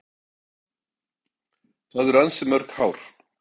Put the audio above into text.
Það eru ansi mörg hár.